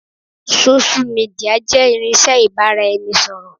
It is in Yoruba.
Sósú midià jẹ́ irinsẹ́ ibà ra ẹni ṣọ̀rọ̀